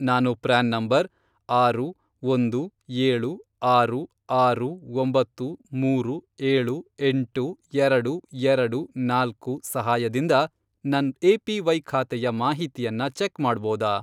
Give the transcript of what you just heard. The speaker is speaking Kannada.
ನಾನು ಪ್ರ್ಯಾನ್ ನಂಬರ್, ಆರು, ಒಂದು, ಏಳು, ಆರು, ಆರು, ಒಂಬತ್ತು, ಮೂರು, ಏಳು, ಎಂಟು, ಎರಡು, ಎರಡು, ನಾಲ್ಕು, ಸಹಾಯದಿಂದ ನನ್ ಎ.ಪಿ.ವೈ. ಖಾತೆಯ ಮಾಹಿತಿಯನ್ನ ಚೆಕ್ ಮಾಡ್ಬೋದಾ?